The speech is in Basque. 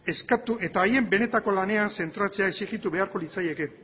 eskatu eta haien benetako lanean zentratzea exigitu beharko litzaieke